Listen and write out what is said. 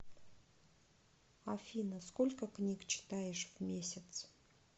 афина сколько книг читаешь в месяц